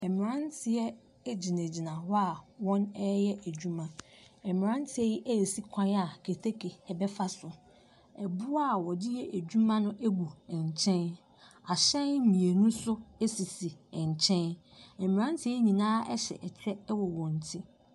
Mmranteɛ agyinagyina hɔ yɛ adwuma. Mmranteɛ yi ɛyɛ kwan a keteke ɛbɛ fa so. Ɛboɔ a wode yɛ adwuma no agu ɛnkyɛn Ahyɛn mmienu so asisi nkyɛn, mmranteɛ yi nyina ɛhyɛ ɛkyɛ wɔ wɔn ti.